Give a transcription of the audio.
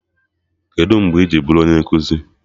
Kedụ mgbe i ji bụrụ onye nkụzi?